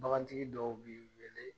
Bagantigi dɔw b'i wele